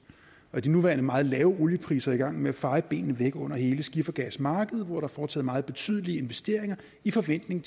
de nuværende meget lave oliepriser er i gang med at feje benene væk under hele skifergasmarkedet hvor der er foretaget meget betydelige investeringer i forventning